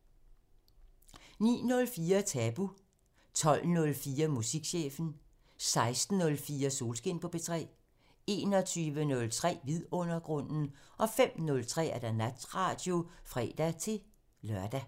09:04: Tabu 12:04: Musikchefen 16:04: Solskin på P3 21:03: Vidundergrunden 05:03: Natradio (fre-lør)